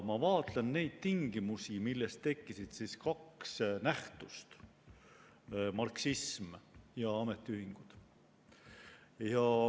Ma vaatlen neid tingimusi, millest tekkisid kaks nähtust: marksism ja ametiühingud.